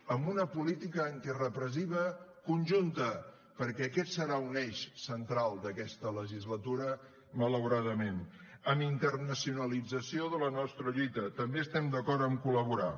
amb una política antirepressiva conjunta perquè aquest serà un eix central d’aquesta legislatura malauradament amb internacionalització de la nostra lluita també estem d’acord amb col·laborar